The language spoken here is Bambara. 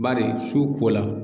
Bari su ko la.